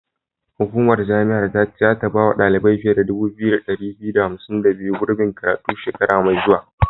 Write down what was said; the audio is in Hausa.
Hukumar jami'ar ta ce zata bawa ɗalibai fiye da 2252, gurbin karatu shekara mai zuwa.